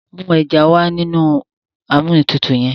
mú eja wá nínú Amóhuntutù yén.